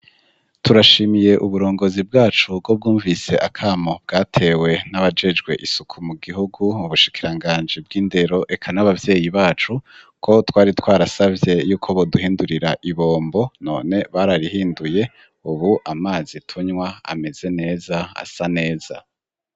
Turashimiye uburongozi bwacu bwo bwumvise akamo bwatewe n'abajejwe isuku mu gihugu, mu bushikiranganji bw'indero, eka n'ababyeyi bacu, ko twari twarasavye yuko boduhindurira ibombo, none bararihinduye, ubu amazi tunywa ameze neza, asa neza.